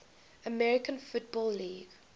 american football league